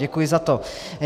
Děkuji za to.